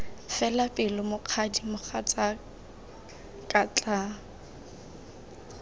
fela pelo mokgadi mogatsaka tlaa